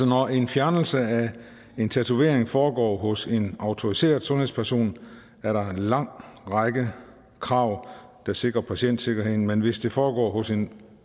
når en fjernelse af en tatovering foregår hos en autoriseret sundhedsperson er der en lang række krav der sikrer patientsikkerheden men hvis det foregår hos en